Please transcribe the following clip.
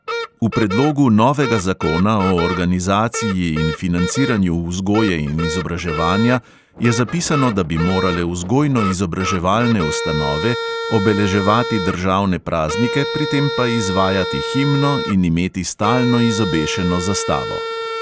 V predlogu novega zakona o organizaciji in financiranju vzgoje in izobraževanja je zapisano, da bi morale vzgojno-izobraževalne ustanove obeleževati državne praznike, pri tem pa izvajati himno in imeti stalno izobešeno zastavo.